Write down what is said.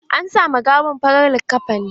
An sa ma gawan farar liƙafani.